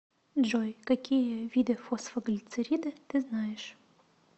джой какие виды фосфоглицериды ты знаешь